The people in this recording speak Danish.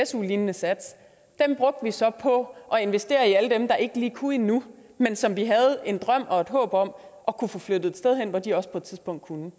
su lignende sats brugte vi så på at investere i alle dem der ikke lige kunne endnu men som vi havde en drøm og et håb om at kunne få flyttet et sted hen hvor de også på et tidspunkt kunne